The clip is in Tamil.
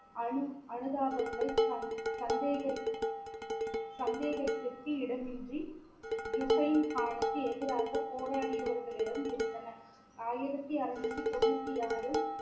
அனு~ அனுதாபங்கள் சந்~ சந்தேகரி~ சந்தேகத்திற்கு இடமின்றி ஜுஹைன்கானுக்கு எதிராக போராடியவர்களிடம் இருந்தன ஆயிரத்தி அறுநூற்றி தொண்ணுத்தி ஆறில்